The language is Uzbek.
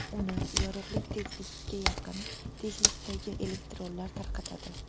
Uni yorug‘lik tezligiga yaqin tezlikdagi elektronlar tarqatadi.